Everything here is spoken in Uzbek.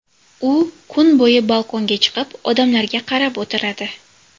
U kun bo‘yi balkonga chiqib, odamlarga qarab o‘tiradi.